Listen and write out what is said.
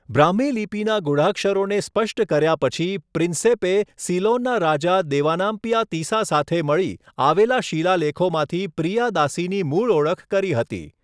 બ્રાહ્મી લિપિના ગૂઢાક્ષરોને સ્પષ્ટ કર્યા પછી, પ્રિન્સેપે સીલોનના રાજા દેવાનામ્પિયા તિસા સાથે મળી આવેલા શિલાલેખોમાંથી 'પ્રિયાદાસી'ની મૂળ ઓળખ કરી હતી.